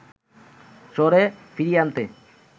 শহরে ফিরিয়ে আনতে